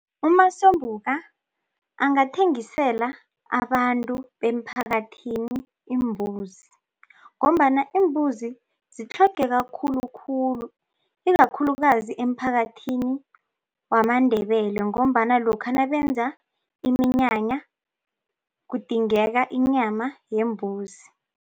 UMasombuka angathengisela abantu bemphakathini iimbuzi ngombana iimbuzi zitlhogeka khulukhulu ikakhulukazi emphakathini wamaNdebele ngombana lokha nabenza iminyanya kudingeka inyama yembuzi.